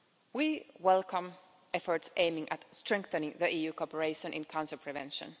We welcome efforts aiming at strengthening EU cooperation on cancer prevention.